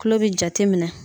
Kulo bɛ jateminɛ.